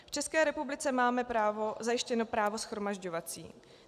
V České republice máme zajištěno právo shromažďovací.